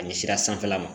A ɲɛ sira sanfɛla ma